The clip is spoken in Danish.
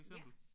Ja